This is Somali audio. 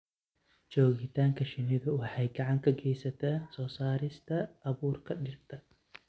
Joogitaanka shinnidu waxay gacan ka geysataa soo saarista abuurka dhirta.